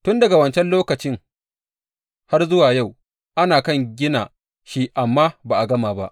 Tun daga wancan lokaci har zuwa yau ana kan gina shi amma ba a gama ba.